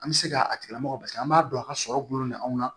An bɛ se ka a tigila mɔgɔ an b'a don a ka sɔrɔ gulonnen bɛ anw na